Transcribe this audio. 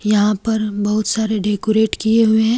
यहां पर बहुत सारे डेकोरेट किए हुए हैं।